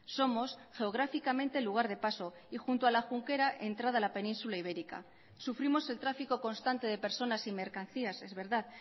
somos geográficamente el lugar de paso y junto a la junquera entrada a la península ibérica sufrimos el tráfico constante de personas y mercancías es verdad